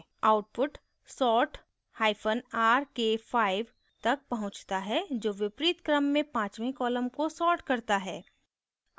output sortrk5 तक पहुँचता है जो विपरीत क्रम में पाँचवे column को sort करता है